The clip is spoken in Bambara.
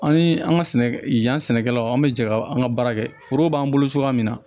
An ni an ka sɛnɛ yan sɛnɛkɛlaw an bɛ jɛ ka an ka baara kɛ forow b'an bolo cogoya min na